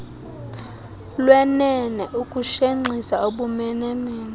lwenene ukushenxisa ubumenemene